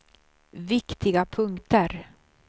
viktiga punkter